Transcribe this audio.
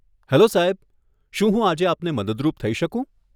Hello સાહેબ, શું હું આજે આપને મદદરૂપ થઇ શકું?